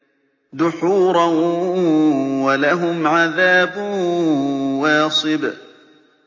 دُحُورًا ۖ وَلَهُمْ عَذَابٌ وَاصِبٌ